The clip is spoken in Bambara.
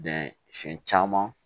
siɲɛ caman